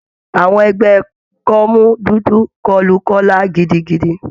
Àwọn ẹgbẹ́ kọ́mú dúdú kọlu Kọla gidigidi.